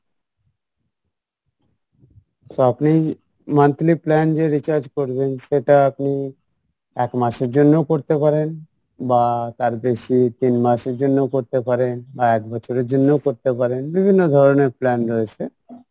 so আপনি monthly plan যে recharge করবেন সেটা আপনি এক মাসের জন্যও করতে পারেন বা তার বেশি তিন মাসের জন্যও করতে পারেন বা এক বছরের জন্যও করতে পারেন বিভিন্ন ধরণের plan রয়েছে